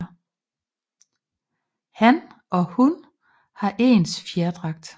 Han og hun har ens fjerdragt